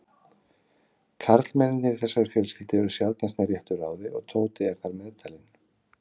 Karlmennirnir í þessari fjölskyldu eru sjaldnast með réttu ráði og Tóti er þar meðtalinn.